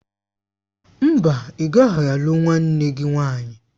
Mba, ị gaghị alụ nwanne gị nwanyị.